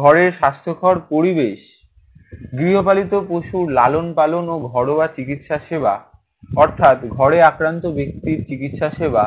ঘরের স্বাস্থ্যকর পরিবেশ। গৃহপালিত পশু লালন পালন ও ঘরোয়া চিকিৎসা সেবা। অর্থাৎ, ঘরে আক্রান্ত ব্যাক্তির চিকিৎসা সেবা